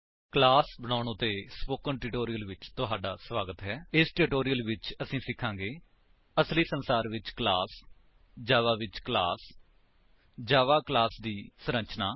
class ਬਣਾਉਣ ਉੱਤੇ spoken tutorial ਵਿੱਚ ਤੁਹਾਡਾ ਸਵਾਗਤ ਹੈ ਇਸ ਟਿਊਟੋਰਿਅਲ ਵਿੱਚ ਅਸੀ ਸਿਖਾਂਗੇ ਅਸਲੀ ਸੰਸਾਰ ਵਿੱਚ ਕਲਾਸ ਜਾਵਾ ਵਿੱਚ ਕਲਾਸ ਜਾਵਾ ਕਲਾਸ ਦੀ ਸੰਰਚਨਾ